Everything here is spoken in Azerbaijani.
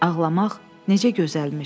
Ağlamaq necə gözəlmiş!